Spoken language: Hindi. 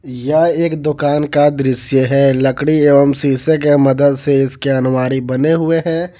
यह एक दुकान का दृश्य है लकड़ी एवं शीशे के मदद से इसके अलमारी बने हुए हैं।